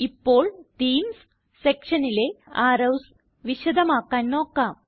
ഇപ്പോൾ തീംസ് സെക്ഷനിലെ അറോവ്സ് വിശദമാക്കാൻ നോക്കാം